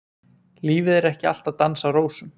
Lífið er ekki alltaf dans á rósum.